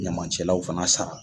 Ɲamancɛlaw fana sara.